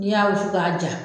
N y'aw f' diya.